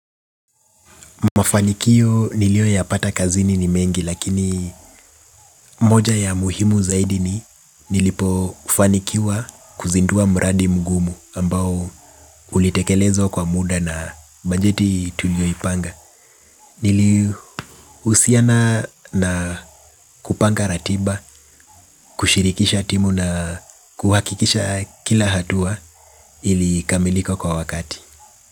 Mafanikio nilioyapata kazini ni mengi lakini moja ya muhimu zaidi ni nilipofanikiwa kuzindua mradi mgumu ambao ulitekelezwa kwa muda na bajeti tulioipanga. Nilihusiana na kupanga ratiba, kushirikisha timu na kuhakikisha kila hatua ilikamilika kwa wakati.